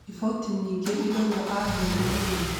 Riboti nyingĩ iraũga aheirwe thumu